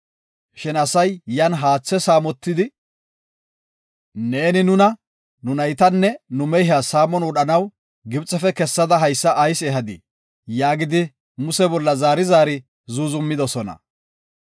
Shin asay yan haatha saamotidi, “Neeni nuna, nu naytanne nu mehiya saamon wodhanaw Gibxefe kessada haysa ayis ehadii?” yaagidi Muse bolla zaari zaari zuuzumidosona.